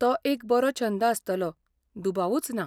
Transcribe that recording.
तो एक बरो छंद आसतलो, दुबावूच ना.